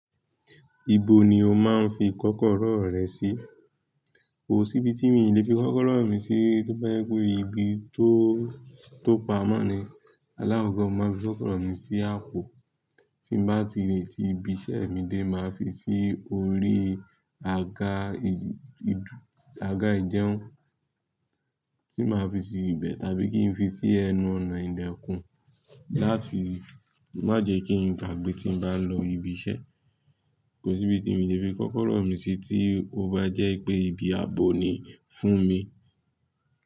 Ibo ni o máa ń fi kọ́kọ́rọ́ rẹ sí? Kò sí ibi tí mi lè fi kọ́kọ́rọ́ mi sí tó bá jẹ́ pé ibí tó, tó pamọ́ ni. Alákokọ̀ mo màá ń fi kọ́kọ́rọ́ mi sí àpò tí m bà ti lèẹ́ tí ibi iṣẹ́ mi dé màá fi sí orí àga ìdú, àga ìjẹun, tí bàá fi sí ibẹ̀ tàbí kí n fi sí ẹnu ọ̀nà ìlẹ̀kún láti má jẹ́ kí n gbàgbé tí n bá ń lọ ibi iṣẹ́. Kò sí ibi tí mi lè fi kọ́kọ́rọ́ mi sí tí ó bá jẹ́ pé ibi ààbò ni fún mi.